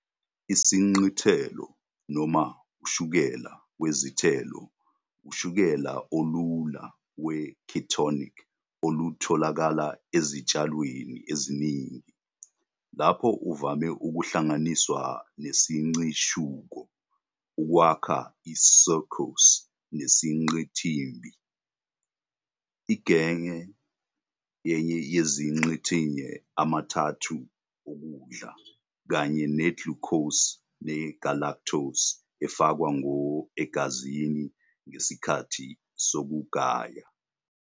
IsiNcithelo, noma ushukela wezithelo, ushukela olula we-ketonic olutholakala ezitshalweni eziningi, lapho uvame ukuhlanganiswa nesiNcishuko ukwakha i-sucrose yesiNcithimbili. Ingenye yeziNcithinye amathathu okudla, kanye ne-glucose ne-galactose, efakwa ngqo egazini ngesikhathi sokugaya.